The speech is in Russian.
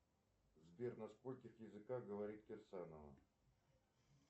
сбер на скольких языках говорит кирсанова